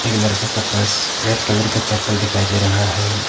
एक लड़का का पास रेड कलर का चप्पल दिखाई दे रहा है।